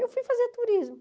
Eu fui fazer turismo.